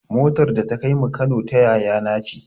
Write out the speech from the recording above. Motar da ta kaimu Kano ta yaya na ce